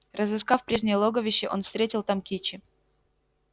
разыскав прежнее логовище он встретил там кичи